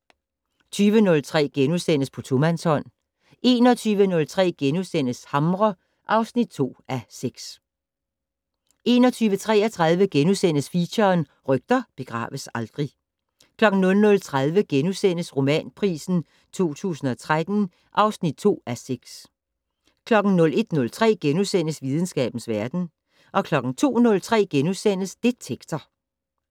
20:03: På tomandshånd * 21:03: Hamre (2:6)* 21:33: Feature: Rygter begraves aldrig * 00:30: Romanpris 2013 (2:6)* 01:03: Videnskabens verden * 02:03: Detektor *